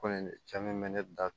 Ko in ne cɛ min bɛ ne da